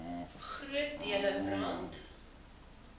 groot dele brand